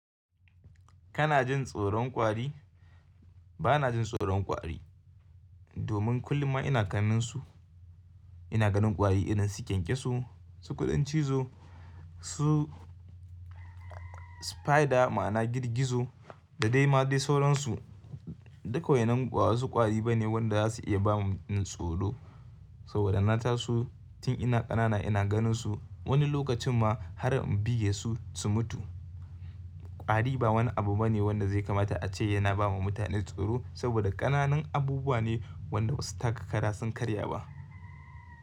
Kana jin tsoron kwari? Bana jin tsoron kwari domin kullum ma ina ganin su. Ina ganin kwari irin su kyankyaso, su kuɗin cizo, su spider ma'ana girgizo da dai ma dai sauransu. Duk wainan ba wasu kwari bane wanda zasu iya bamu tsoro saboda na taso tun ina ƙanana ina ganin su. Wani lokacin ma har in buge su su mutu. Kwari ba wani abu bane wanda zai kamata ace yana bawa mutane tsoro saboda ƙananin abubuwa ne wanda basu taka kara sun karya ba.